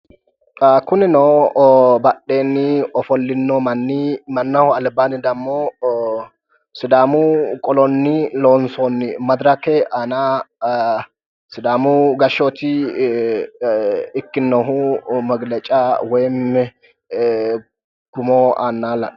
kunino badheenni ofollino manni mannaho albaanni dammo sidaamu qolonni loonsoonni madirake aana sidaamu gashooti ikkinohu magileca woyim tumo aannaati la'neemmohu.